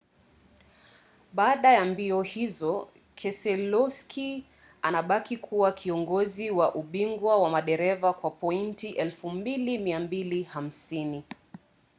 baada ya mbio hizo keselowski anabaki kuwa kiongozi wa ubingwa wa madereva kwa pointi 2,250